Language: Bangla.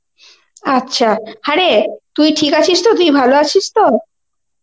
আচ্ছা, হ্যাঁ রে তুই ঠিক আছিস তো, তুই ভালো আছিস তো?